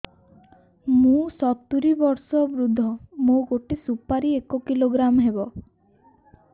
ମୁଁ ସତୂରୀ ବର୍ଷ ବୃଦ୍ଧ ମୋ ଗୋଟେ ସୁପାରି ଏକ କିଲୋଗ୍ରାମ ହେବ